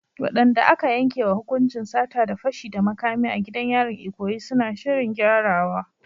Waɗanda aka yankewa hukuncin sata da fashi da makami a gidan yarin Ikoyi suna shirin gyarawa.